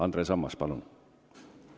Andres Ammas, palun!